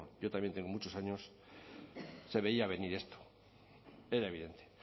yo también tengo muchos años se veía venir esto era evidente